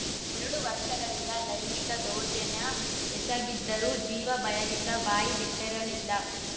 ಎರಡು ವರ್ಷಗಳಿಂದ ಲೈಂಗಿಕ ದೌರ್ಜನ್ಯ ಎಸಗಿದರೂ ಜೀವ ಭಯದಿಂದ ಬಾಯ್ಬಿಟರಲಿಲ್ಲ